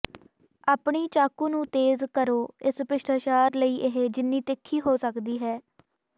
ਆਪਣੀ ਚਾਕੂ ਨੂੰ ਤੇਜ਼ ਕਰੋ ਇਸ ਭ੍ਰਿਸ਼ਟਾਚਾਰ ਲਈ ਇਹ ਜਿੰਨੀ ਤਿੱਖੀ ਹੋ ਸਕਦੀ ਹੈ